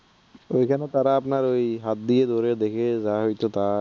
এইখানে তারা আপনার ঐ হাত দিয়ে ধরে দেখে যা হইতো তা